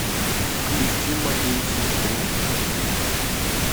включи моей сестре